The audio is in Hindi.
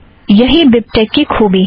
यही बिबटेक की ख़ूबी है